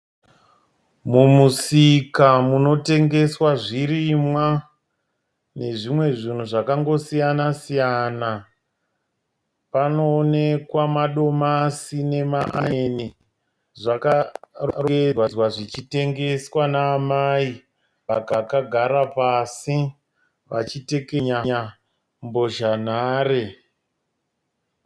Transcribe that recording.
Mumusika munootengeswa zvirinwa nezvimwe zvinhu zvakangosiyana siyana panoonekwa madomasi nemaonyeni zvakarongedzwa zvichitengeswa namai vakagara pasi vachitekenya mbozha nhare.